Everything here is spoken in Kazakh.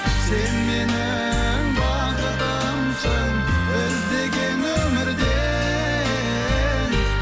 сен менің бақытымсың іздеген өмірде